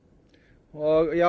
og ég